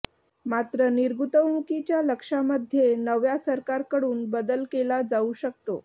मात्र निर्गुतवणुकीच्या लक्ष्यामध्ये नव्या सरकारकडून बदल केला जाऊ शकतो